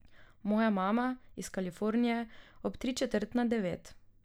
Moja mama, iz Kalifornije, ob tri četrt na devet.